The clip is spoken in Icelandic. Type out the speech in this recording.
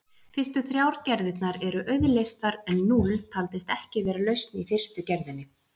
Fyrstu þrjár gerðirnar eru auðleystar en núll taldist ekki vera lausn í fyrstu gerðinni.